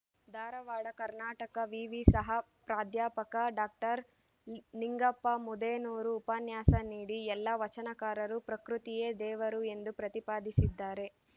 ಧಾರವಾಡ ಕರ್ನಾಟಕ ವಿವಿ ಸಹ ಪ್ರಾದ್ಯಾಪಕ ಡಾಕ್ಟರ್ ನಿಂಗಪ್ಪ ಮುದೇನೂರು ಉಪನ್ಯಾಸ ನೀಡಿ ಎಲ್ಲಾ ವಚನಕಾರರು ಪ್ರಕೃತಿಯೇ ದೇವರು ಎಂದು ಪ್ರತಿಪಾದಿಸಿದ್ದಾರೆ